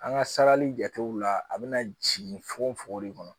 An ka sarali jatew la a bɛna jigin fo de kɔnɔ